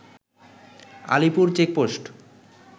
Alipur checkpost